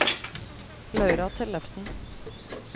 Laura Tellefsen